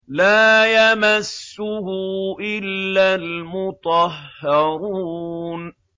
لَّا يَمَسُّهُ إِلَّا الْمُطَهَّرُونَ